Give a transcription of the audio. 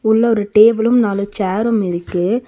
உள்ள ஒரு டேபிளும் நாலு சேரும் இருக்கு